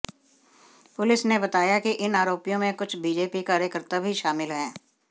police ने बताया कि इन आरोपियों में कुछ बीजेपी कार्यकर्ता भी शामिल हैं